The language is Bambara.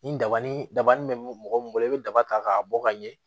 Nin daba ni daba ni be mɔgɔ min bolo i be daba ta k'a bɔ ka ɲɛ